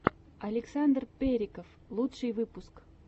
александр периков лучший выпуск